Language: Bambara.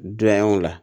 Don y'aw la